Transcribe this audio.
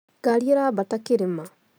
Ngari ĩraambara kĩrĩma